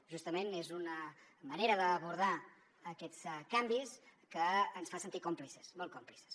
justament és una manera d’abordar aquests canvis que ens fa sentir còmplices molt còmplices